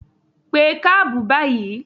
Pé kábù báyìí!